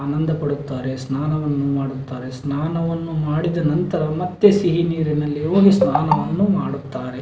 ಆನಂದ ಪಡುತ್ತಾರೆ ಸ್ನಾನವನ್ನು ಮಾಡುತ್ತಾರೆ ಸ್ನಾನವನ್ನು ಮಾಡಿದ ನಂತರ ಮತ್ತೆ ಸಿಹಿ ನೀರಿನಲ್ಲಿ ಹೋಗಿ ಸ್ನಾನವನ್ನು ಮಾಡುತ್ತಾರೆ.